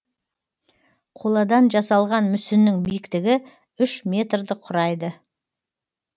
қоладан жасалған мүсіннің биіктігі үш метрді құрайды